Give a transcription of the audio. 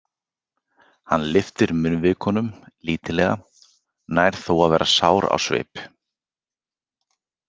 Hann lyftir munnvikunum lítillega, nær þó að vera sár á svip.